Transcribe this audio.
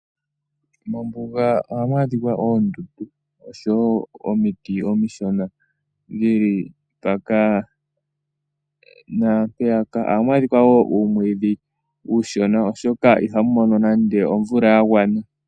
Mombuga ohamu adhika oondundu oshowo omiti omishona dhili mpaka naampeyaka. Ohamu adhika wo uumwiidhi uushona oshoka iha mu mono nande omvula ya gwana.